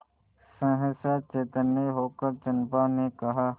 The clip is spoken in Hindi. सहसा चैतन्य होकर चंपा ने कहा